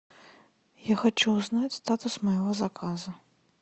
я хочу узнать статус моего заказа